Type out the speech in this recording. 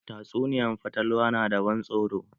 Tatsuniyan fatalwa na da ban tsoro.